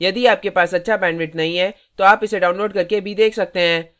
यदि आपके पास अच्छा bandwidth नहीं है तो आप इसे download करके देख सकते हैं